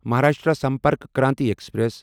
Maharashtra Sampark Kranti express